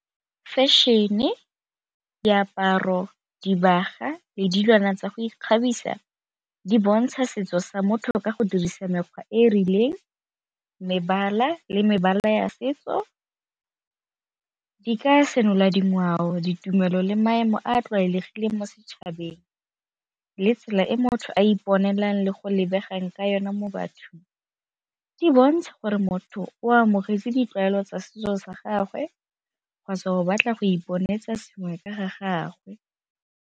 Fashion-e, diaparo, dibagwa le dilwana tsa go ikgabisa di bontsha setso sa motho ka go dirisa mekgwa e e rileng, mebala le mebala ya setso. Di ka senola dingwao, ditumelo le maemo a a tlwaelegileng mo setšhabeng le tsela e motho a iponelang le go lebegang ka yone mo bathong, di bontsha gore motho o amogetse ditlwaelo tsa setso sa gagwe kgotsa o batla go iponatsa sengwe ka ga gagwe.